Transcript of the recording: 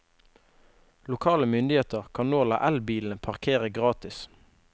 Lokale myndigheter kan nå la elbilene parkere gratis.